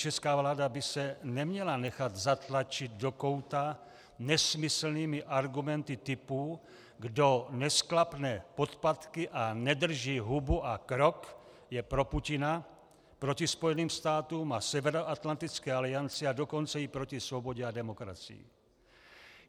Česká vláda by se neměla nechat zatlačit do kouta nesmyslnými argumenty typu - kdo nesklapne podpatky a nedrží hubu a krok, je pro Putina, proti Spojeným státům a Severoatlantické alianci, a dokonce i proti svobodě a demokracii.